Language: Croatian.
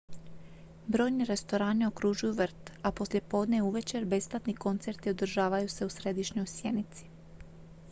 brojni restorani okružuju vrt a poslijepodne i uvečer besplatni koncerti održavaju se u središnjoj sjenici